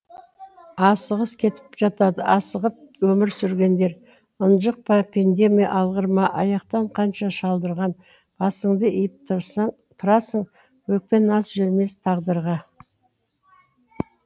асығыс кетіп жатады асығып өмір сүргендер ынжық па пенде ме алғыр ма аяқтан қанша шалдырған басыңды иіп тұрасың өкпе наз жүрмес тағдырға